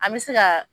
An bɛ se ka